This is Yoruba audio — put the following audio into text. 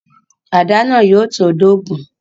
Àdá náà yóò tó dógun